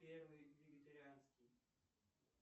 первый вегетарианский